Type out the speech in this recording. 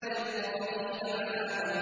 لِّلطَّاغِينَ مَآبًا